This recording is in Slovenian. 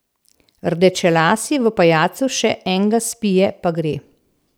Rdečelasi v pajacu še enga spije pa gre.